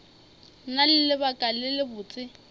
na le lebaka le lebotse